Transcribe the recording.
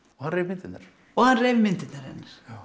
og hann reif myndirnar og hann reif myndirnar hennar